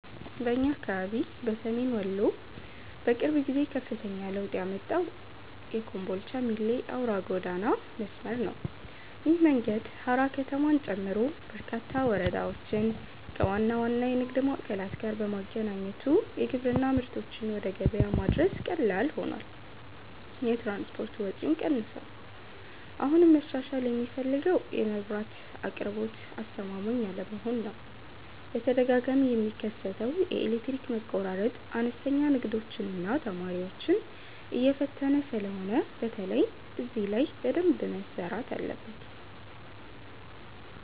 በእኛ አካባቢ በሰሜን ወሎ በቅርብ ጊዜ ከፍተኛ ለውጥ ያመጣው የኮምቦልቻ - ሚሌ አውራ ጎዳና መስመር ነው። ይህ መንገድ ሃራ ከተማን ጨምሮ በርካታ ወረዳዎችን ከዋና ዋና የንግድ ማዕከላት ጋር በማገናኘቱ የግብርና ምርቶችን ወደ ገበያ ማድረስ ቀላል ሆኗል፤ የትራንስፖርት ወጪም ቀንሷል። አሁንም መሻሻል የሚፈልገው የመብራት አቅርቦት አስተማማኝ አለመሆን ነው፤ በተደጋጋሚ የሚከሰተው የኤሌክትሪክ መቆራረጥ አነስተኛ ንግዶችንና ተማሪዎችን እየፈተነ ስለሆነ በተለይ እዚህ ላይ በደንብ መሰራት አለበት።